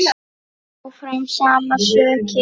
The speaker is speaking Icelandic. Áfram sama sukkið?